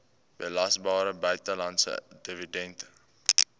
belasbare buitelandse dividend